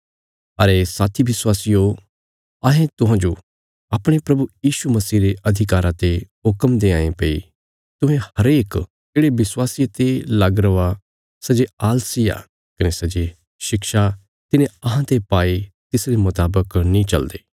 अरे साथी विश्वासियो अहें तुहांजो अपणे प्रभु यीशु मसीह रे अधिकारा ते हुक्म देआंये भई तुहें हरेक येढ़े विश्वासिये ते लग रौआ सै जे आलसी आ कने सै जे शिक्षा तिन्हें अहांते पाई तिसरे मुतावक नीं चलदे